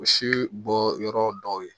Misi bɔ yɔrɔ dɔw ye